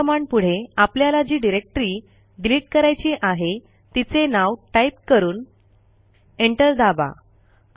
RM कमांडपुढे आपल्याला जी डिरेक्टरी डिलिट करायची आहे तिचे नाव टाईप करून एंटर दाबा